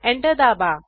enter दाबा